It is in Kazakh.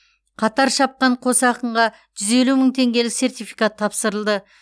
қатар шапқан қос ақынға жүз елу мың теңгелік сертификат тапсырылды